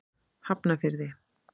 Hafnarfirði